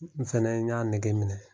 N fɛnɛ n y'a nege minɛ.